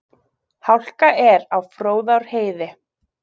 Hálka er á Fróðárheiði